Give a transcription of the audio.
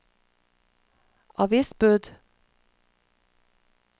avisbud